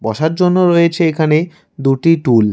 বসার জন্য রয়েছে এখানে দুটি টুল ।